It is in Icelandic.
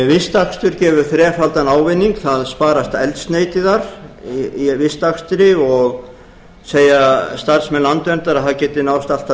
vistakstur gefur þrefaldan ávinning það sparast eldsneyti í vistakstri og segja starfsmenn landverndar að það geti náðst allt að